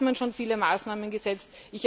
Da hat man schon viele Maßnahmen gesetzt.